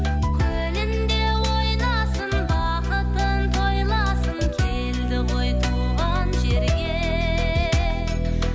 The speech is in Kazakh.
көліңде ойнасын бақытын тойласын келді ғой туған жерге